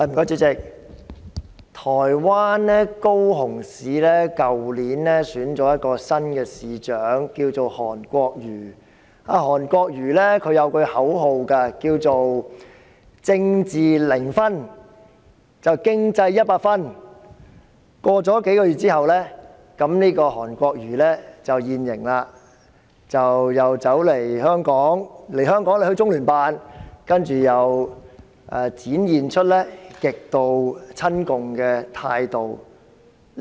主席，台灣高雄市去年選出新市長韓國瑜，他有一句口號是"政治零分、經濟一百分"，但他在數個月後便"現形"，他來香港時到訪中央人民政府駐香港特別行政區聯絡辦公室，展現出極度親共的態度。